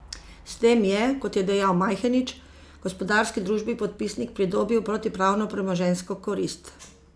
S tem je, kot je dejal Majhenič, gospodarski družbi podpisnik pridobil protipravno premoženjsko korist.